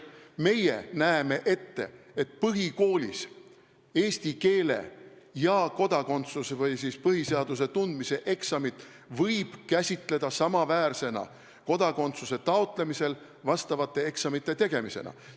Meie näeme ette, et põhikoolis tehtavaid eesti keele ja põhiseaduse tundmise eksameid võib käsitada samaväärsena kodakondsuse taotlemisel tehtavate eksamitega.